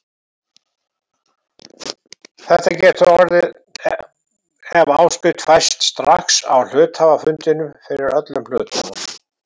Þetta getur orðið ef áskrift fæst strax á hluthafafundinum fyrir öllum hlutunum.